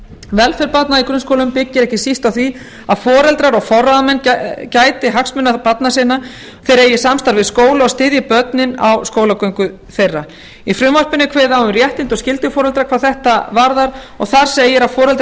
velferð barna í grunnskólum byggir ekki síst á því að foreldrar og forráðamenn gæti hagsmuna barna sinna þeir eigi samstarf við skóla og styðji börnin á skólagöngu þeirra í frumvarpinu er kveðið á um réttindi og skyldur foreldra hvað þetta varðar og þar segir að foreldrar